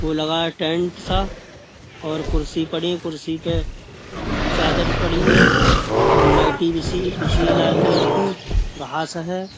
वो लगा है टेंट सा और कुर्सी पड़ी है कुर्सी पे चादर पड़ी है और मैटि बिछी-बिछी है लाल कलर की घास हैं।